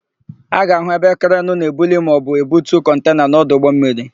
A ga-áhụ̀ ebe krenu na-ebuli maọbụ ebutu kọntena n'ọdụ ụgbọmmiri